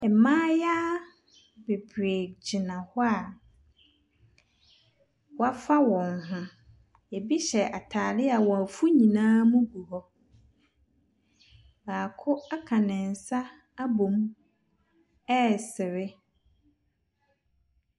Mmayewa bebree gyina hɔ a wɔafa wɔn ho. Ebi hyɛ atade a wɔn afu nyinaa mu gu hɔ. Baako aka ne nsa abɔ mu resere.